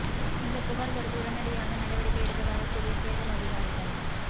இந்த புகார் கொடுத்து உடனடியாக நடவடிக்கை எடுப்பதாக கூறிய தேர்தல் அதிகாரிகள்